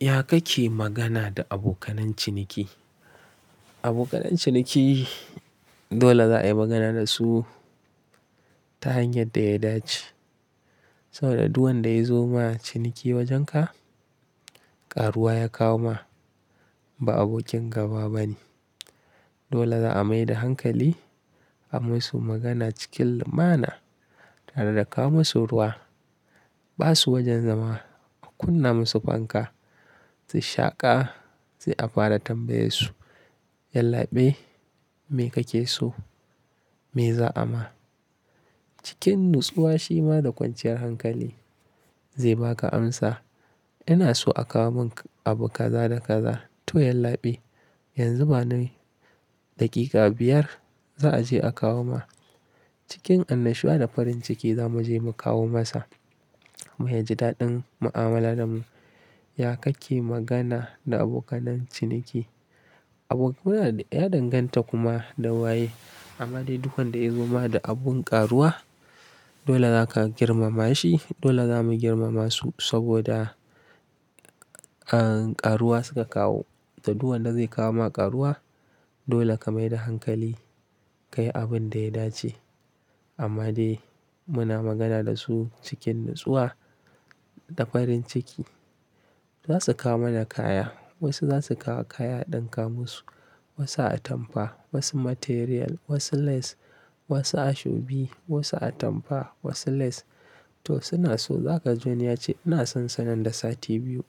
Ya kake magana da abokanen ciniki? Abokanan ciniki dole za a yi magana da su ta hanyar da ya dace. Saboda duk wanda ya zo ma ciniki wajenka, ƙaruwa ya kawo ma ba abokin gaba ba ne. Dole za'a mai da hankali, a masu magana cikin lumana tare da kawo musu ruwa. Ba su wajen zama, a kunna musu fanka, su shaƙa sai a fara tambaye su, "Yallabe, me kake so? Me za'a ma?" Cikin natsuwa, shima da kwanciyar hankali zai baka amsa. "ina so a kawo mun abu kaza da kaza." "to yallabe, yanzu ba ni daƙiƙa biyar za a je a kawo ma." Cikin annashuwa da farin ciki za mu je mu kawo masa, mu yaji daɗin mu'amala da mu. Ya kake magana da abokananciniki? Abo kona da ya danganta kuma da waye. Amma dai duk wanda ya zo ma da abun ƙaruwa dole za ka girmama shi. Dole za mu girmama su saboda, ah, ƙaruwa suka kawo. To duk wanda zai kawo ma ƙaruwa dole ka mai da hankali, ka yi abun da ya dace. Amma dai muna magana da su cikin natsuwa da farin ciki. Za su kawo mana kaya, wasu za su kawo kaya ɗan kawo musu, wasu atampa, wasu material, wasu lace, wasu ashobi, wasu atampa, wasu lace. To suna so za ka ji wani ya ce, "ina son sa nan da sati biyu."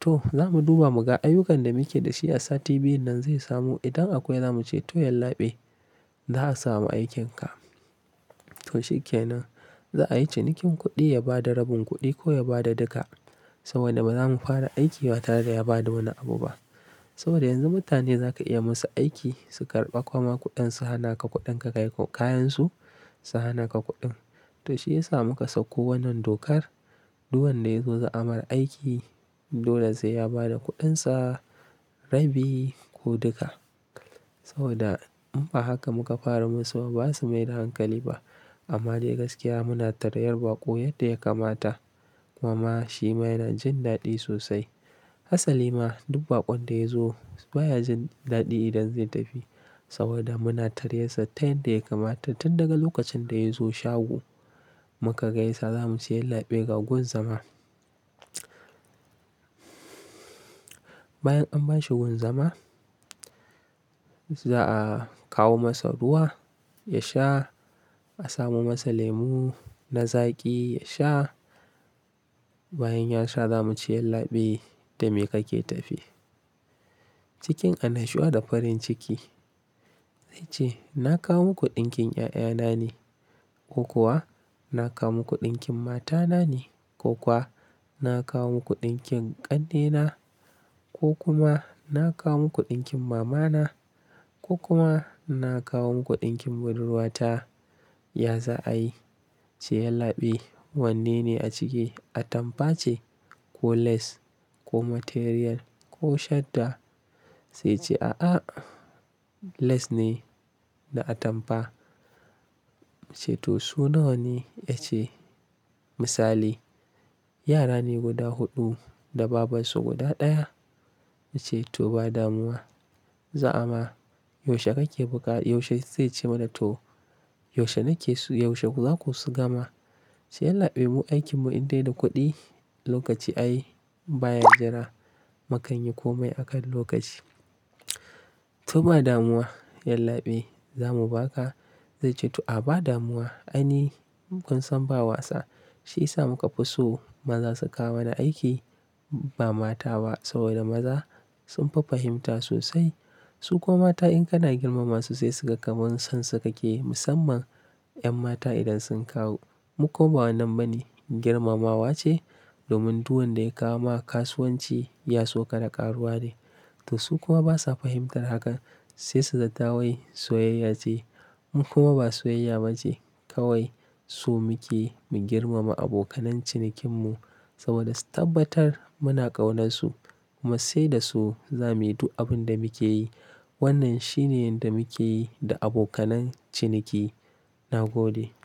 To za mu duba mu ga ayyukan da muke da shi a sati biyun nan zai samu. Idan akwai za mu ce, "to yallabe, za a samu aikin ka." To shi ke nan. Za a yi cinikin kuɗi ya bada rabin kuɗi ko ya bada duka. Saboda ba za mu fara aiki ba tare da ya bada wani abu ba. Saboda yanzu mutane za ka iya musu aiki, su karɓa kuma kuɗin su hana ka kuɗin ka kai kayan su, su hana ka kuɗin. To shi ya sa muka sako wannan dokar. Duk wanda ya zo za'a mar aiki, dole sai ya bada kuɗinsa, rabi ko duka. Saboda in ba haka muka fara musu ba, ba su mai da hankali ba. Amma dai gaskiya muna tareyar baƙo yadda ya kamata. Kuma ma shi ma yana jin daɗi sosai. Hassali ma duk baƙon da ya zo baya jin daɗi idan zai tafi saboda muna tare yasa ta yanda ya kamata tun daga lokacin da ya zo shago. Muka gaisa za mu ce, "Yallabe ga gun zama." Bayan an bashi wun zama za'a kawo masa ruwa ya sha. A samo masa lemu na zaƙi ya sha. Bayan ya sha za mu ce, "Yallabe, dame kake tafe." Cikin annashuwa da farin ciki zai ce, "na kawo muku ɗinkin ƴaƴana ne" ko kuwa "na kawo muku ɗinkin matana ne” ko kuwa "na kawo muku ɗinkin ƙannena" ko kuma "na kawo muku ɗinkin mamana” ko kuma "na kawo muku ɗinkin budurwata." Ya za a yi? Ce, "Yallabe, wanne ne a ciki? Atampa ce ko lace ko material ko shadda?" Sai ya ce, "A'a, lace ne da atampa." Mu ce, "to su nawane?" Ya ce misali, "Yara ne guda huɗu da babarsu guda ɗaya." Na ce, "to ba damuwa. Za'a ma. Yaushe kake buƙa" Yaushe sai ya ce mana, "to yaushe nake so yaushe zaku gama." Ce, "Yallabe mu aikinmu in dai da kuɗi lokaci ai baya jira." Makanyi komai akan lokaci. "to ba damuwa yallabe, za mu baka." Zai ce, "to a ba damuwa." Ai ni kun san ba wasa. Shi ya sa muka fi so maza su kawo mana aiki ba mata ba. Saboda maza sun fi fahimta sosai. Su kuma mata in kana girmama su sai suga kaman son su kakeyi. Musamman 'yan mata idan sun kawo mu kuma ba wannan bane girmamawa ce. Domin duk wanda ya kawo ma kasuwanci ya so ka da ƙaruwa ne. To su kuma basa fahimtar hakan sai su zatta wai soyayya ce. Mu kuma ba soyayya ba ce kawai. So muke mu girmama abokanen cinikinmu saboda su tabbatar muna ƙaunarsu kuma sai da su za muyi duk abin da muke yi. Wannan shine yanda muke yi da abokanan ciniki. Na gode.